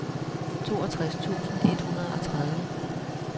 toogtres tusind et hundrede og tredive